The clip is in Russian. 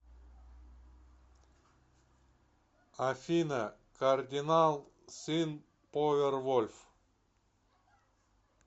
афина кардинал син повервольф